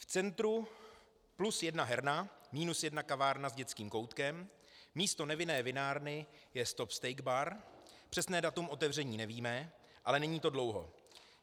V centru plus jedna herna, minus jedna kavárna s dětským koutkem, místo nevinné vinárny je stop steak bar, přesné datum otevření nevíme, ale není to dlouho.